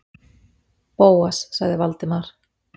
Bóas- sagði Valdimar.